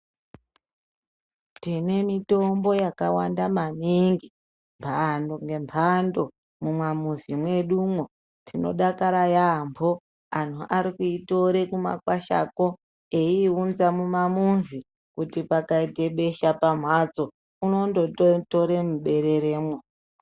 Tine mitombo yakawanda maningi mbando ngembando mumwamuzi mwedumwo. Tinodakara yaambo anhu arikuitore kumakwashako, eiiunza mumamuzi, kuti pakaite besha pamhatso unondotore mubereremwo.